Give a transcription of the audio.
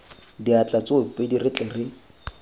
diatla tsoopedi re tle re